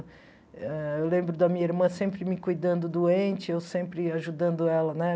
Ah eu lembro da minha irmã sempre me cuidando doente, eu sempre ajudando ela, né?